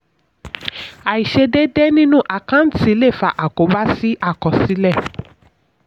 àìṣedédé nínú àkáǹtì lè fà àkóbá sí àkọsílẹ̀.